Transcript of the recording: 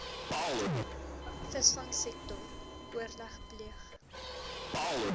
visvangsektor oorleg pleeg